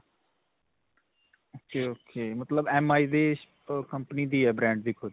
ok ok. ਮਤਲਬ MI ਦੀ company ਦੀ ਹੈ, brand ਦੀ ਖੁੱਦ.